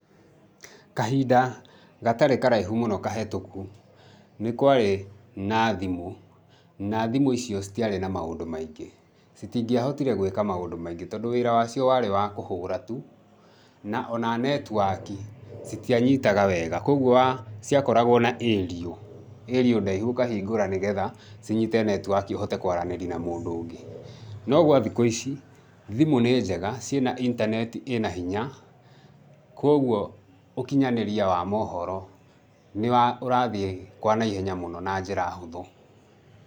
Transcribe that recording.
Kahinda gatarĩ karaihu mũno kahĩtũku nĩ kwarĩ na thimũ, na thimũ icio citiarĩ na maũndũ maingĩ. Citingĩahotire gwĩka maũndũ maingĩ tondũ wĩra wacio warĩ wa kũhũra tu na o na network citianyitaga wega. Kwoguo ciakoragwo na aerial, aerial ndaihu ũkahingũra nĩgetha cinyite network ũhote kũaranĩri na mũndũ ũngĩ. No gwa thikũ ici, thimũ nĩ njega, ciĩna internet ĩna hinya kwoguo, ũkinyanĩria wa maũhoro nĩ ũrathiĩ kwa naihenya mũno na njĩra hũthũ.